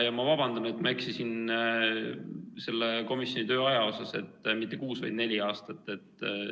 Ja ma vabandan, et ma eksisin selle komisjoni töö ajas, et mitte kuus, vaid neli aastat.